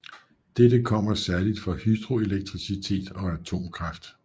Dette kommer særligt fra hydroelektricitet og atomkraft